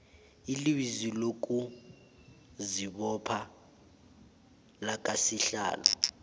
ilizwi lokuzibopha lakasihlalo